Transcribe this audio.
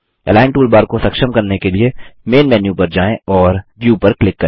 align toolbar को सक्षम करने के लिए मैन मेनू पर जाएँ और व्यू पर क्लिक करें